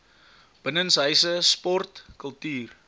binnenshuise sport kultuur